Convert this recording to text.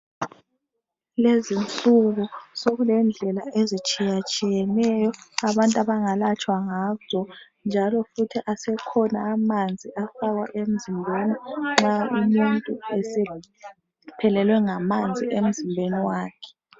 Lezinsuku sokulendlela ezitshiyatshiyeneyo abantu abangalatshwa ngazo njalo futhi asekhona amanzi afakwa emzimbeni nxa umuntu esephelelwe ngamanzi emzimbeni wakhe.